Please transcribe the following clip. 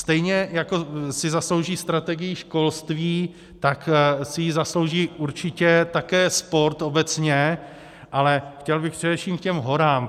Stejně jako si zaslouží strategii školství, tak si ji zaslouží určitě také sport obecně, ale chtěl bych především k těm horám.